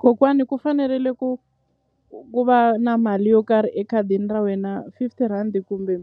Kokwani ku fanerile ku ku va na mali yo karhi ekhadini ra wena fifty rand kumbe